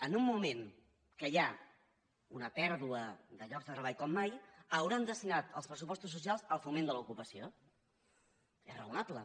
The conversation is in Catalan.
en un moment que hi ha una pèrdua de llocs de treball com mai deuen haver destinat els pressupostos socials al foment de l’ocupació és raonable